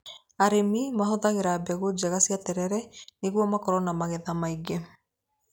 Arĩmi mahũthagĩra mbegũ njega cia terere nĩguo makorwo na magetha maingĩ.